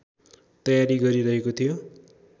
तयारी गरिरहेको थियो